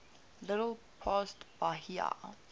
little past bahia